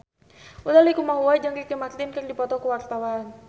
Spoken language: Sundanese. Utha Likumahua jeung Ricky Martin keur dipoto ku wartawan